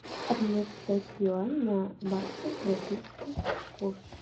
обменять китайские юани на баксы в российский курс